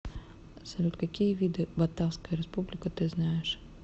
салют какие виды батавская республика ты знаешь